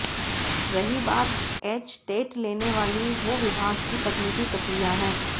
रही बात एचटेट लेने वाली वो विभाग की तकनीकी प्रक्रिया है